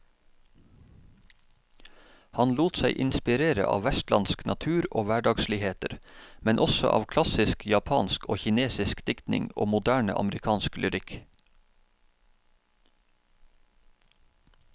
Han lot seg inspirere av vestlandsk natur og hverdagsligheter, men også av klassisk japansk og kinesisk diktning og moderne amerikansk lyrikk.